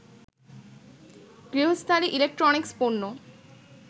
গৃহস্থালী electronics পণ্য